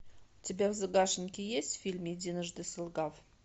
у тебя в загашнике есть фильм единожды солгав